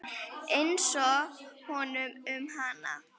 Einsog honum um hana.